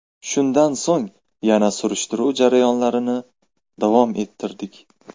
Shundan so‘ng, yana surishtiruv jarayonlarini davom ettirdik.